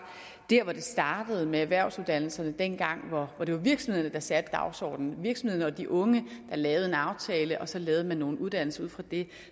det sted hvor det startede med erhvervsuddannelserne dengang hvor det var virksomhederne der satte dagsordenen og virksomhederne og de unge der lavede en aftale og så lavede man nogle uddannelser ud fra det